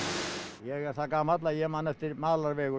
ég er það gamall að ég man eftir